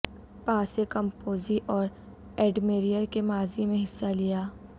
پاسے کمپوزی اور ایڈمریر کے ماضی میں حصہ لیا